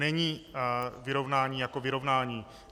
Není vyrovnání jako vyrovnání.